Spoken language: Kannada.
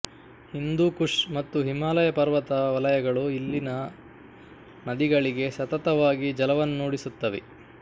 ಹಿಂದೂಕುಷ್ ಮತ್ತು ಹಿಮಾಲಯ ಪರ್ವತ ವಲಯಗಳು ಇಲ್ಲಿಯ ನದಿಗಳಿಗೆ ಸತತವಾಗಿ ಜಲವನ್ನೂಡಿಸುತ್ತವೆ